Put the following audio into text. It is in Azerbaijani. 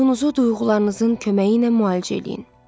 Ruhunuzu duyğularınızın köməyi ilə müalicə eləyin.